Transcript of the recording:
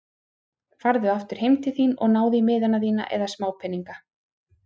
Farðu aftur heim til þín og náðu í miðana þína eða smápeninga.